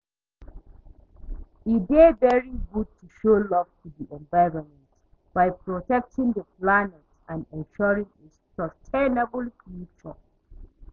E dey very good to show love to di environment by protectng di planet and ensuring a sustainable future.